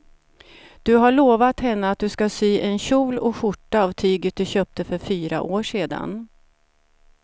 Du har lovat henne att du ska sy en kjol och skjorta av tyget du köpte för fyra år sedan.